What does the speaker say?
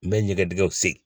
N bɛ ɲɛgɛn dingɛw sen,